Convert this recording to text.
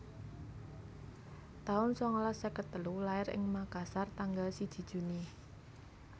taun sangalas seket telu Lair ing Makassar tanggal siji Juni